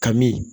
Kami